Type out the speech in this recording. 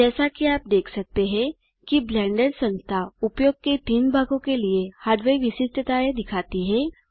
जैसा कि आप देख सकते हैं कि ब्लेंडर संस्था उपयोग के तीन भागों के लिए हार्डवेयर विशिष्टताएँ दिखाती है